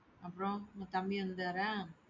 அப்புறம் உங்க தம்பி வந்தாரா?